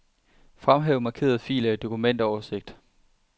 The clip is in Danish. Fremhæv markerede filer i dokumentoversigt.